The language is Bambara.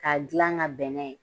K'a dilan ka bɛn n'a ye